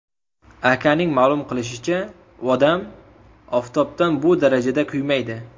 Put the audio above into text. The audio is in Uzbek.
Akaning ma’lum qilishicha, odam oftobdan bu darajada kuymaydi.